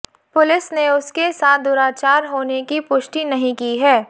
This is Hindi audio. पुलिस ने उसके साथ दुराचार होने की पुष्टि नहीं की है